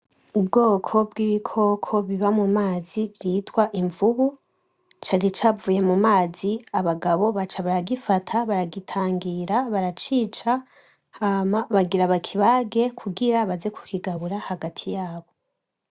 Ubwoko bw'ibikoko biba mu mazi vyitwa imvubu, cari cavuye mu mazi abagabo baca baragifata baragitangira baracica, hama bagira bakibage kugira baze kukigabura hagati yabo.